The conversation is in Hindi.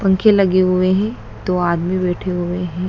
पंखे लगे हुए हैं दो आदमी बैठे हुए हैं।